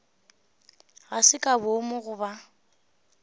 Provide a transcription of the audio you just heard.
ga se ka boomo goba